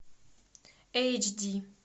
эйч ди